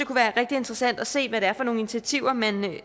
være rigtig interessant at se hvad det er for nogle initiativer man